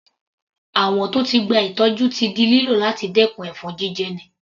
Àwọ̀n tó ti gba ìtọ́jú ti di lílò láti dẹkùn ẹ̀fọn jíjẹni.